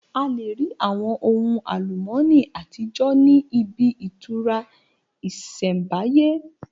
A lè rí àwọn ohun àlùmọ́nì àtijọ́ ní ibi ìtura ìsẹ̀mbáyé